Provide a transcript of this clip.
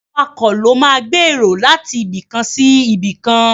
Awakọ̀ ló máa gbé èrò láti ibikàn sí ibìkan.